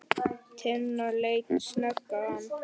Tinna leit snöggt á hann.